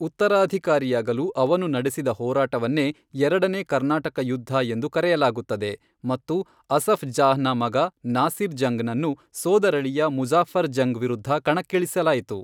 ಉತ್ತರಾಧಿಕಾರಿಯಾಗಲು ಅವನು ನಡೆಸಿದ ಹೋರಾಟವನ್ನೇ ಎರಡನೇ ಕರ್ನಾಟಕ ಯುದ್ಧ ಎಂದು ಕರೆಯಲಾಗುತ್ತದೆ ಮತ್ತು ಅಸಫ್ ಜಾಹ್ ನ ಮಗ ನಾಸಿರ್ ಜಂಗ್ ನನ್ನು, ಸೋದರಳಿಯ ಮುಜಾಫರ್ ಜಂಗ್ ವಿರುದ್ಧ ಕಣಕ್ಕಿಳಿಸಲಾಯಿತು.